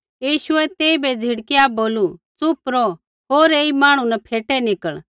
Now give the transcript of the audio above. यीशुऐ तेइबै झिड़काईया बोलू च़ुप रौह होर ऐई मांहणु न फ़ेटै निकल़